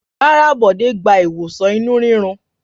Rárá, Bọ̀dé gba ìwòsàn inú ríro.